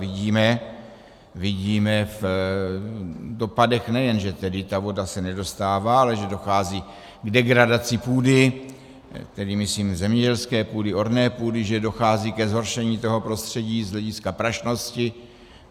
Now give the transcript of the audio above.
Vidíme v dopadech nejen že tedy ta voda se nedostává, ale že dochází k degradaci půdy, tedy myslím zemědělské půdy, orné půdy, že dochází ke zhoršení toho prostředí z hlediska prašnosti.